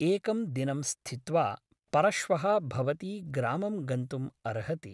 एकं दिनं स्थित्वा परश्वः भवती ग्रामं गन्तुम् अर्हति ।